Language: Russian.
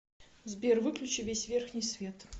сбер выключи весь верхний свет